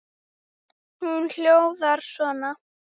Hún hljóðar svo